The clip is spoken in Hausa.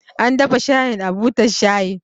An dafa shayin a butar shayi